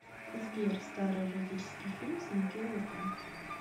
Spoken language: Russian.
сбер старый эротический фильм с микки рурком